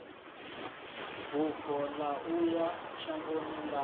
bufho ya uya shangoni ḽavho